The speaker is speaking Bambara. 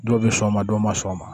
Dɔw bɛ sɔn o ma dɔw ma sɔn o ma